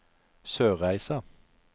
Sørreisa